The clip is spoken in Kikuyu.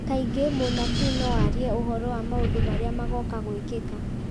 Kaingĩ mũnabii no arie ũhoro wa maũndũ marĩa magooka gwĩkĩka